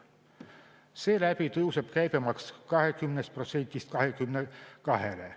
Seeläbi tõuseb käibemaks 20%-lt 22%-le.